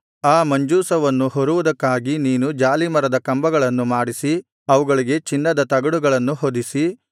ಆ ಮಂಜೂಷವನ್ನು ಹೊರುವುದಕ್ಕಾಗಿ ನೀನು ಜಾಲೀಮರದ ಕಂಬಗಳನ್ನು ಮಾಡಿಸಿ ಅವುಗಳಿಗೆ ಚಿನ್ನದ ತಗಡುಗಳನ್ನು ಹೊದಿಸಿ